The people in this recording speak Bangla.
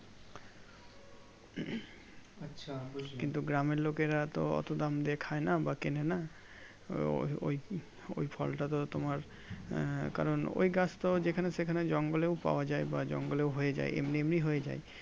কিন্তু গ্রামের লোকেরা তো অতো দাম দিয়ে খাই না বা কেনে না ওর ওই ওই ফল টা তো তোমার আহ কারণ ওই গাছটা যেখানে সেখানে জঙ্গলেও পাওয়া যাই জঙ্গলেও হয়ে যাই এমনি এমনি হয়ে যাই